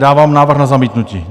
Dávám návrh na zamítnutí.